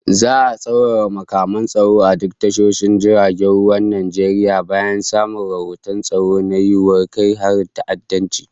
Za'a tsaurara matakan tsaro a duk tashoshin jiragen ruwan Najeriya bayan samun rahoton tsaro na yiwuwar kai harin ta'addanci